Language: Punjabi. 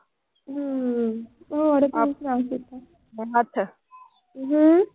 ਹੂੰ। ਹੂੰ।